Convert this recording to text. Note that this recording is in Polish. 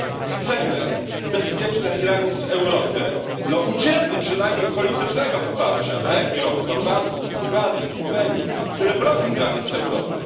Chcemy bezpiecznych granic Europy. Udzielmy przynajmniej politycznego poparcia Węgrom, Chorwacji, Bułgarii i Słowenii, które bronią granic Europy.